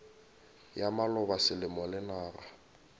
ya maloba selemo le naga